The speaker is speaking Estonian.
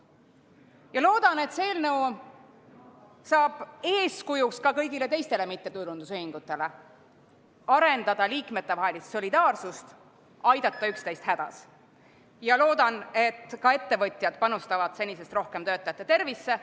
Ma loodan, et see eelnõu saab eeskujuks ka kõigile teistele mittetulundusühingutele, et arendada liikmetevahelist solidaarsust ja aidata üksteist hädas, ning ma loodan, et ka ettevõtjad panustavad senisest rohkem töötajate tervisesse.